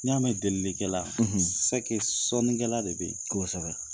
N'i y'a mɛn delili kɛla sɔnni kɛla de bɛ ye kosɛbɛ.